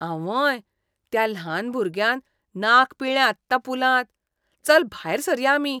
आंवंय! त्या ल्हान भुरग्यान नाक पिळ्ळें आत्तां पुलांत. चल भायर सरया आमी.